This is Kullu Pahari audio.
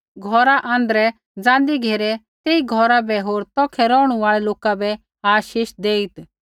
घौरा आँध्रै ज़ाँन्दी घेरै तेई घौरा बै होर तौखै रौहणु आल़ै लोका बै आशीष देईत्